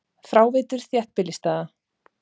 Fráveitur þéttbýlisstaða